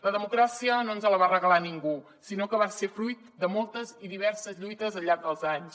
la democràcia no ens la va regalar ningú sinó que va ser fruit de moltes i diverses lluites al llarg dels anys